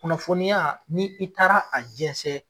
Kunafɔni ya ni i taara a jɛsɛn.